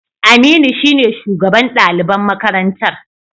Aminu shine shugaban daliban makarantar